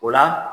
O la